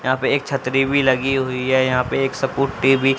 यहां पे एक छतरी भी लगी हुई है यहां पे एक सकूटी भी--